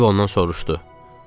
Stiv ondan soruşdu.